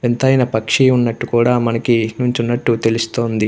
వింతైన పక్షి ఉన్నట్టు కూడా మనకి నించున్నట్టు తెలుస్తుంది.